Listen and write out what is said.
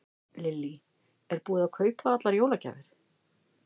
Lillý: Er búið að kaupa allar jólagjafir?